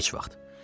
Heç vaxt.